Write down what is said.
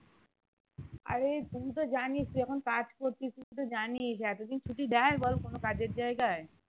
আরে তুই তো জানিস তুই এখন কাজ করছিস তুই তো জানিস এত দিন ছুটি দেয় বল কোনো কাজের জায়গায়